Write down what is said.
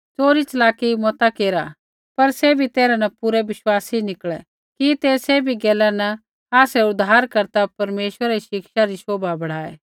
च़ोरी च़लाकी मता केरा पर सैभी तैरहा न पूरै विश्वासी निकलै कि ते सैभी गैला न आसरै उद्धारकर्ता परमेश्वरै री शिक्षा री शौभा बढ़ाऐ